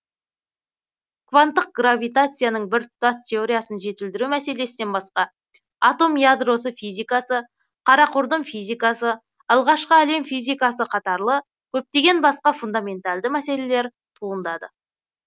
кванттық гравитацияның біртұтас теориясын жетілдіру мәселесінен басқа атом ядросы физикасы қара құрдым физикасы алғашқы әлем физикасы қатарлы көптеген басқа фундаменталды мәселелер туындады